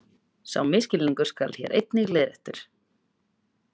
Sá misskilningur skal hér einnig leiðréttur.